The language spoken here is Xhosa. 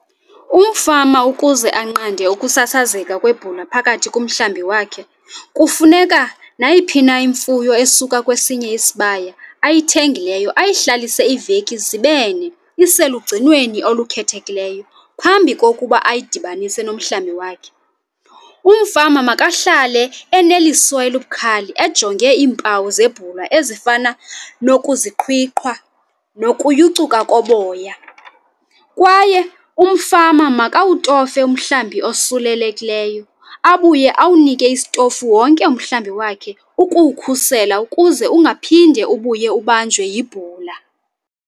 Umfama ukuze anqande ukusasazeka kwebhula phakathi komhlambi wakhe, kufuneka nayiphi na imfuyo esuka kwesinye isibaya ayithengileyo ayihlalise iiveki zibene iselugcinweni olukhethekileyo phambi kokuba ayidabanise nomhlambi wakhe. Umfama makahlale eneliso elibukhali ejonge iimpawu zebhula ezifana nokuziqhwiqhwa nokuyucuka koboya. Kwaye umfama makawutofe umhlambi osulelekileyo abuye awunike isitofu wonke umhlambi wakhe ukuwukhusela ukuze ungaphinde ubuye ubanjwe yibhula.